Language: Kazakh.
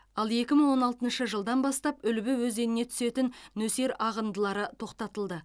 ал екі мың он алтыншы жылдан бастап үлбі өзеніне түсетін нөсер ағындылары тоқтатылды